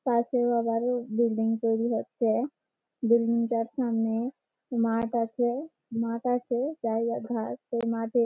পাশে আবারও বিল্ডিং তৈরি হচ্ছে বিল্ডিং টার সামনে মাঠ আছে মাঠ আছে জায়গা ধার সেই মাঠে --